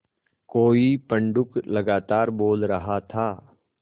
कोई पंडूक लगातार बोल रहा था